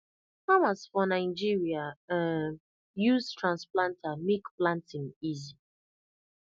farmers for nigeria um use transplanter make planting easy